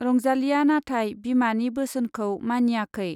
रंजालीया नाथाय बिमानि बोसोनखौ मानियाखै।